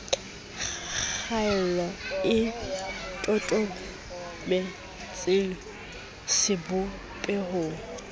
kgaello e totobe tseng sebopehong